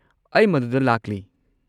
ꯑꯩ ꯃꯗꯨꯗ ꯂꯥꯛꯂꯤ꯫